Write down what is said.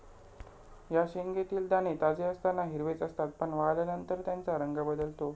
या शेंगेतील दाणे ताजे असताना हिरवेच असतात, पण वाळल्यानंतर त्यांचा रंग बदलतो.